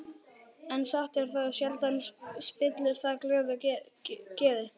En satt er það, sjaldan spillir það glöðu geði.